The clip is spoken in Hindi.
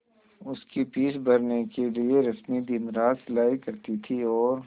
उसकी फीस भरने के लिए रश्मि दिनरात सिलाई करती थी और